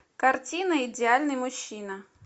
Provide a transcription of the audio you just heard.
картина идеальный мужчина